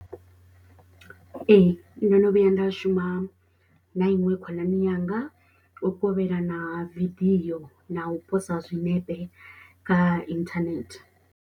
Ee ndo no vhuya nda shuma na iṅwe khonani yanga. U kovhelana vidio na u posa zwinepe kha internet.